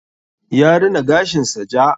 Ya rina gashin sa ja.